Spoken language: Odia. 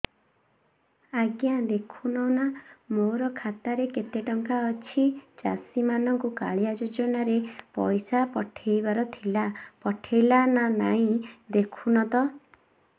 ଆଜ୍ଞା ଦେଖୁନ ନା ମୋର ଖାତାରେ କେତେ ଟଙ୍କା ଅଛି ଚାଷୀ ମାନଙ୍କୁ କାଳିଆ ଯୁଜୁନା ରେ ପଇସା ପଠେଇବାର ଥିଲା ପଠେଇଲା ନା ନାଇଁ ଦେଖୁନ ତ